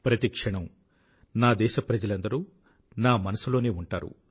ప్రతి క్షణం నా దేశ ప్రజలందరూ నా మనసులోనే ఉంటారు